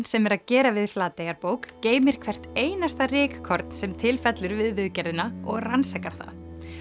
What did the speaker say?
sem er að gera við Flateyjarbók geymir hvert einasta rykkorn sem til fellur við viðgerðina og rannsakar það